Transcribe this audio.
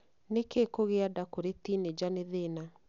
Nĩkĩ kũgĩa nda kũrĩ tinĩnja nĩ thĩna?